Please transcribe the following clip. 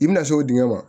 I bɛna se o dingɛ ma